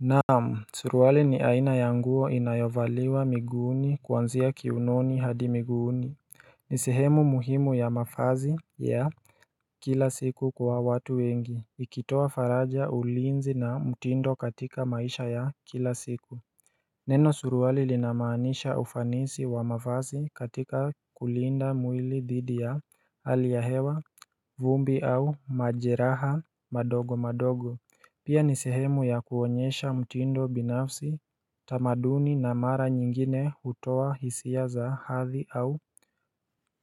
Naam, suruwali ni aina ya nguo inayovaliwa miguuni kuanzia kiunoni hadi miguuni ni sehemu muhimu ya mafazi ya kila siku kwa watu wengi, ikitoa faraja ulinzi na mtindo katika maisha ya kila siku. Neno suruwali linamaanisha ufanisi wa mavazi katika kulinda mwili dhidi ya hali ya hewa vumbi au majeraha madogo madogo Pia ni sehemu ya kuonyesha mtindo binafsi, tamaduni na mara nyingine hutoa hisia za hathi au